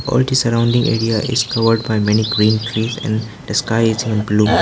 All the surrounding area is covered by many green trees and the sky is in blue.